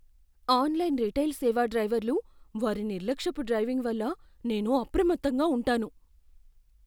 Online retail సేవ డ్రైవర్లు వారి నిర్లక్ష్యపు డ్రైవింగ్ వల్ల నేను అప్రమత్తంగా ఉంటాను.